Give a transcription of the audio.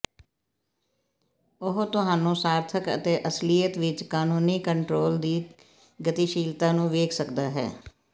ਉਹ ਤੁਹਾਨੂੰ ਸਾਰਥਕ ਅਤੇ ਅਸਲੀਅਤ ਵਿਚ ਕਾਨੂੰਨੀ ਕੰਟਰੋਲ ਦੀ ਗਤੀਸ਼ੀਲਤਾ ਨੂੰ ਵੇਖ ਸਕਦਾ ਹੈ